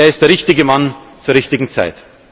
Er ist der richtige Mann zur richtigen Zeit.